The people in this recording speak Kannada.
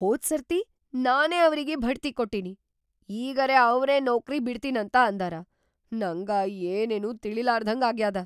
ಹೋದ್‌ ಸರ್ತಿ ನಾನೇ ಅವ್ರಿಗಿ ಭಡ್ತಿ ಕೊಟ್ಟಿನಿ‌, ಈಗರೆ ಅವ್ರೇ ನೌಕ್ರಿ ಬಿಡ್ತೀನಂತ ಅಂದಾರ, ನಂಗ ಏನೇನೂ ತಿಳೀಲಾರ್ದ್ಹಂಗಾಗ್ಯಾದ.